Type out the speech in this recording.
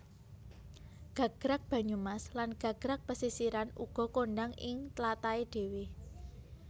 Gagrag Banyumas lan Gagrag Pesisiran uga kondhang ing tlatahé dhéwé